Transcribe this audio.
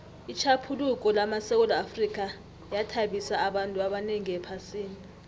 itjhaphuluko lamasewula afrika yathabisa abantu abanengi ephasini